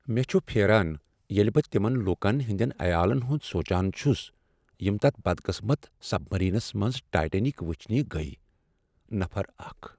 مےٚ چھ پھیران ییٚلہ بہٕ تمن لوٗکن ہٕنٛدین عیالن ہُند سونٛجان چھس یم تتھ بد قٕسمت سبمرینس منٛز ٹایٹینک وٕچھنہ گٔیہ، نفر اکھَ